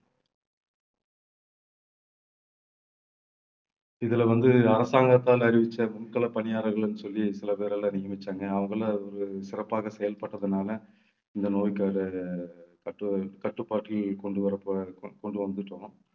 இதுல வந்து அரசாங்கத்தால் அறிவிச்ச முன்களப்பணியாளர்கள்ன்னு சொல்லி சில பேர் எல்லாம் நியமிச்சாங்க. அவங்களை ஒரு சிறப்பாகச் செயல்பட்டதனால இந்த நோய்க்கான கட்டு~ கட்டுப்பாட்டில் கொண்டு வர~ கொண்டு வந்துட்டோம்